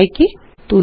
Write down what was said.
y യ്ക്ക് തുല്യമാണ്